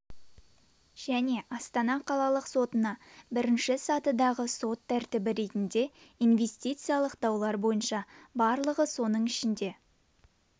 және астана қалалық сотына бірінші сатыдағы сот тәртібі ретінде инвестициялық даулар бойынша барлығы соның ішінде